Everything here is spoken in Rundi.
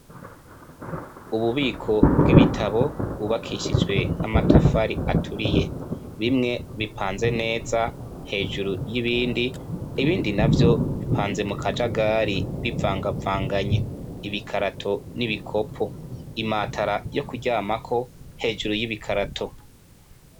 Ububiko bw'ibitabo bwubakishijwe n'amatafari aturiye. Bimwe bipanze neza hejuru y'ibindi, ibindi navyo bipanze mu kajagari bivangavanganye ibikarato n'ibikopo. Imatera yo kuryamako hejuru y'ibikarato.